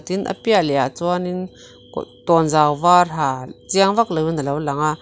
tin a piah lehah chuanin tawnzau var ha chiang vak loin a lo lang a.